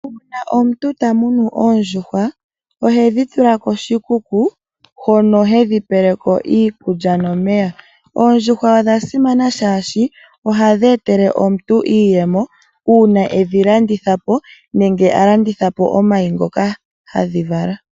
Uuna omuntu ta munu oondjuhwa ohedhi tula koshikuku hono hedhi pele ko iikulya nomeya. Oondjuhwa odha simana, oshoka ohadhi etele omuntu iiyemo uuna e dhi landitha po nenge a landitha po omayi ngoka hadhi vala.